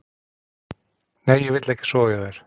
Nei, ég vil ekki sofa hjá þér.